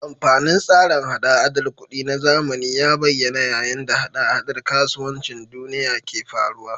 Amfanin tsarin hada-hadar kuɗi na zamani ya bayyana yayin da hada-hadar kasuwancin duniya ke faruwa.